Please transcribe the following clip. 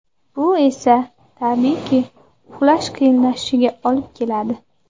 Bu esa, tabiiyki, uxlash qiyinlashishiga olib keladi.